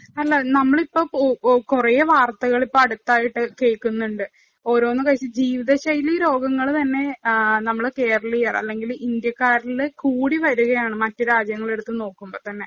അല്ല, നമ്മള് ഇപ്പം കൊറേ വാര്‍ത്തകള്‍ അടുത്തായിട്ടു കേള്‍ക്കുന്നുണ്ട്. ഓരോന്ന് കഴിച്ച് ജീവിത ശൈലി രോഗങ്ങള് തന്നെ നമ്മള് കേരളിയര്‍, അല്ലെങ്കില്‍ ഇന്ത്യക്കാരില് കൂടി വരികയാണ്‌ മറ്റു രാജ്യങ്ങള്‍ എടുത്ത് നോക്കുമ്പോ തന്നെ.